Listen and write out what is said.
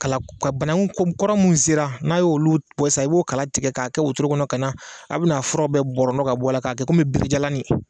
Kala ko ka bananku kɔrɔ min sera n'a y'olu bɔ sisan, i b'o kala tigɛ k'o kɛ wotoro kɔnɔ ka na , a bɛ n'a fura bɛɛ bɔrɔntɔ k'a bɔ a la, k'a kɛ kɔmi binjalanin